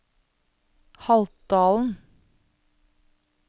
Haltdalen